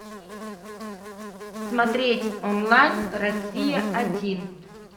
смотреть онлайн россия один